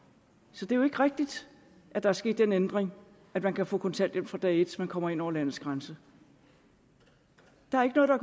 så det er jo ikke rigtigt at der er sket den ændring at man kan få kontanthjælp fra dag et man kommer ind over landets grænser der er ikke noget der